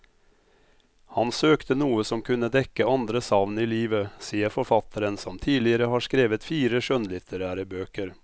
Han søkte noe som kunne dekke andre savn i livet, sier forfatteren som tidligere har skrevet fire skjønnlitterære bøker.